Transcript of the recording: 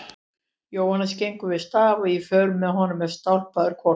Jóhannes gengur við staf og í för með honum er stálpaður hvolpur.